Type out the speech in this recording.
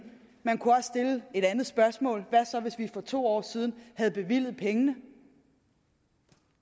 man kunne også stille et andet spørgsmål hvad så hvis vi for to år siden havde bevilget pengene